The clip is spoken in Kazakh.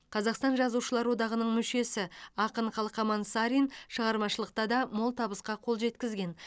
қазақстан жазушылар одағының мүшесі ақын қалқаман сарин шығармашылықта да мол табысқа қол жеткізген